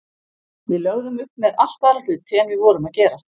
Við lögðum upp með allt aðra hluti en við vorum að gera.